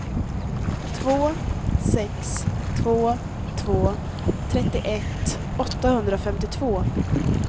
två sex två två trettioett åttahundrafemtiotvå